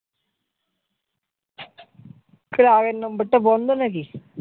কেন আগের number টা বন্ধ নাকি?